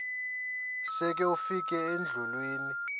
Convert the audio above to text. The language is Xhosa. sele ufikile endlwini